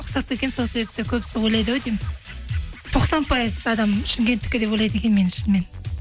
ұқсап кеткен сол себепті көбісі ойлайды ау деймін тоқсан пайыз адам шымкенттікі деп ойлайды екен мені шынымен